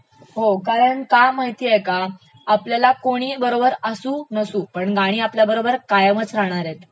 हो कारण का माहितेय का, आपल्याला कोणी बरोबर असू नसू, गाणी आपल्यासोबत कायमच असणारेत